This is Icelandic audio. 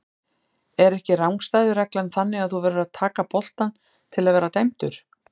Er ekki rangstæðu reglan þannig að þú verður að taka boltann til að vera dæmdur?